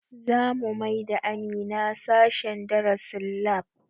Zamu maida Amina sashen darasin lab